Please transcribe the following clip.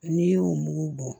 N'i y'o mugu bɔ